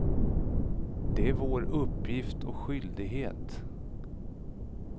Det är vår uppgift och skyldighet.